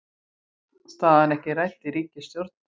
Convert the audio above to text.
Staðan ekki rædd í ríkisstjórn